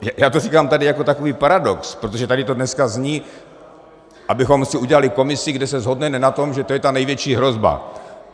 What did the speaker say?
Já to říkám tady jako takový paradox, protože tady to dneska zní, abychom si udělali komisi, kde se shodneme na tom, že to je ta největší hrozba.